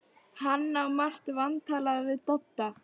Hann á margt vantalað við Dodda.